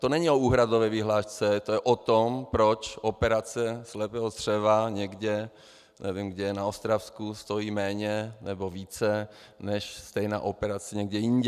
To není o úhradové vyhlášce, to je o tom, proč operace slepého střeva někde, nevím kde, na Ostravsku, stojí méně nebo více než stejná operace někde jinde.